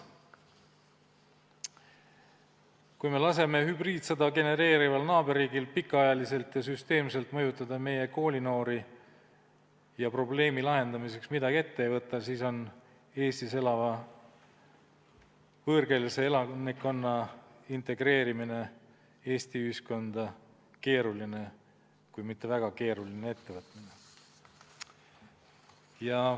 Kui me laseme hübriidsõda genereerival naaberriigil pikka aega ja süsteemselt mõjutada meie koolinoori ja probleemi lahendamiseks midagi ette ei võta, siis on Eestis elava võõrkeelse elanikkonna integreerimine Eesti ühiskonda keeruline kui mitte väga keeruline ettevõtmine.